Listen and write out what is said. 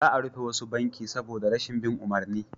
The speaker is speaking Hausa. Za a rufe wasu banki saboda rashin bin umarni